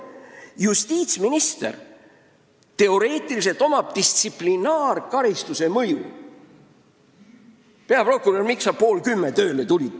Justiitsministril on teoreetiliselt võimalik kohaldada distsiplinaarkaristust: "Peaprokurör, miks sa pool kümme tööle tulid?